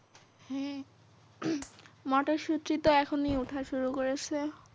হ্যাঁ মটরশুটি তো এখনই ওঠা শুরু করেসে।